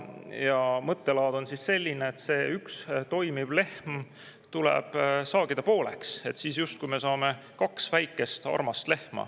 Uus mõttelaad on selline, et see üks toimiv lehm tuleb saagida pooleks, siis justkui me saame kaks väikest armast lehma.